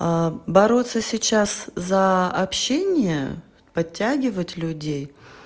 бороться сейчас за общение подтягивать людей